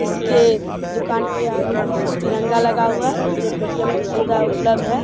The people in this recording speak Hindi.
इसके दुकान के आगे एक तिरंगा लगा हुआ इसमें पेटियम की सुविधा उब्लब्ध है।